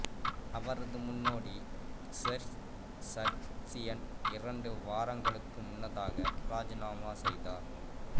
அவரது முன்னோடி Serzh Sargsyan இரண்டு வாரங்களுக்கு முன்னதாக ராஜினாமா செய்தார்